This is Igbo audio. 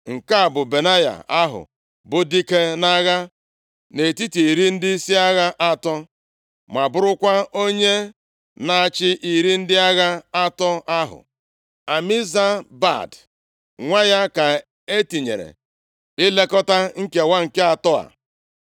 Nke a bụ Benaya ahụ bụ dike nʼagha nʼetiti iri ndịisi agha atọ, ma bụrụkwa onye na-achị iri ndị agha atọ ahụ. Amizabad nwa ya ka e tinyere ilekọta nkewa nke atọ a.